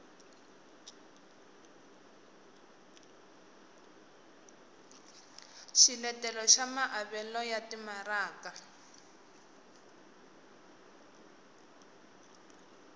xiletelo xa maavelo ya timaraka